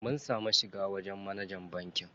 Mun samu mun shiga wajen manajan bankin.